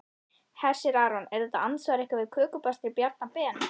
Hersir Aron: Er þetta andsvar ykkar við kökubakstri Bjarna Ben?